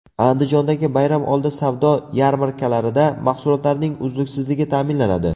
Andijondagi bayramoldi savdo yarmarkalarida mahsulotlarning uzluksizligi ta’minlanadi .